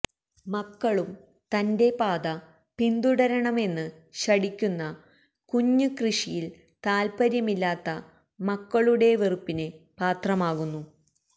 മക്കളും തന്റെ പാത പിന്തുടരണമെന്ന് ശഠിക്കുന്ന കുഞ്ഞ് കൃഷിയിൽ താൽപ്പര്യമില്ലാത്ത മക്കളുടെ വെറുപ്പിന് പാത്രമാകുന്നു